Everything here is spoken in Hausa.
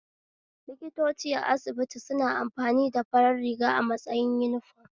Likitoci a asibiti suna amfani da farar riga a matsayin uniform